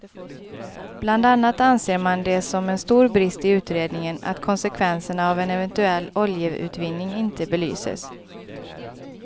Bland annat anser man det som en stor brist i utredningen att konsekvenserna av en eventuell oljeutvinning inte belyses.